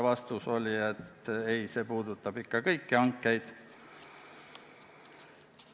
Vastus oli, et ei, see puudutab kõiki hankeid.